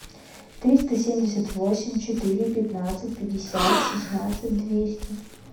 триста семьдесят восемь четыре пятнадцать пятьдесят шестнадцать двести